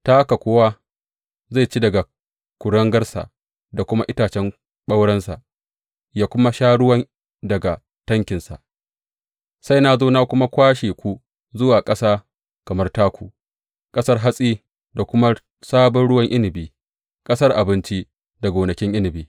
Ta haka kowa zai ci daga kuringarsa da kuma itacen ɓaurensa ya kuma sha ruwa daga tankinsa, sai na zo na kuma kwashe ku zuwa ƙasa kamar taku, ƙasar hatsi da kuma sabon ruwan inabi, ƙasar abinci da gonakin inabi.